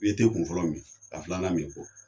I bi kunfɔlɔ min ka filanan min kɔ